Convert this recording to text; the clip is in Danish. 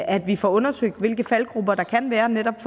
at vi får undersøgt hvilke faldgruber der kan være netop i